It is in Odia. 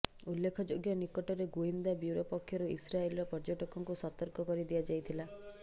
ଉଲ୍ଲେଖଯୋଗ୍ୟ ନିକଟରେ ଗୁଇନ୍ଦା ବ୍ୟୁରୋ ପକ୍ଷରୁ ଇସ୍ରାଏଲର ପର୍ଯ୍ୟଟକଙ୍କୁ ସତର୍କ କରିଦିଆଯାଇଥିଲା